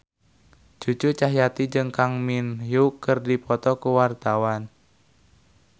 Cucu Cahyati jeung Kang Min Hyuk keur dipoto ku wartawan